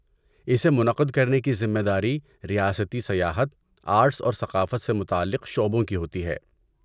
اسے منعقد کرنے کی ذمے داری ریاستی سیاحت، آرٹس اور ثقافت سے متعلق شعبوں کی ہوتی ہے۔